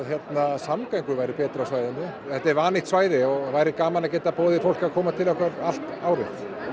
samgöngur væru betri á svæðinu þetta er vannýtt svæði og væri gaman að bjóða fólki að koma til okkar allt árið